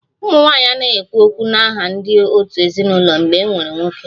Ụmụ nwanyị anaghị ekwu okwu n'aha ndị òtù ezinụlọ mgbe e nwere nwoke